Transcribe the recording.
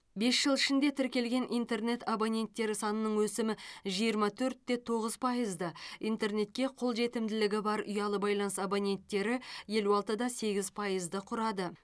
бес жыл ішінде тіркелген интернет абоненттері санының өсімі жиырма төрт те тоғыз пайызды интернетке қолжетімділігі бар ұялы байланыс абоненттері елу алты да сегіз пайызды құрады